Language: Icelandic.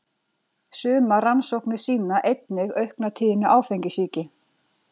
Sumar rannsóknir sýna einnig aukna tíðni áfengissýki.